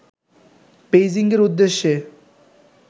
বেইজিংয়ের উদ্দেশ্যে